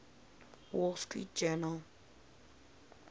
wall street journal